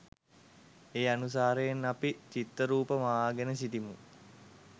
ඒ අනුසාරයෙන් අපි චිත්තරූප, මවාගෙන සිටිමු.